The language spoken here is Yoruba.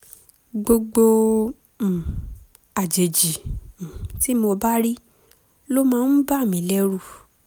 gbogbo um àjèjì um tí mo bá rí ló máa ń bà mí lẹ́rù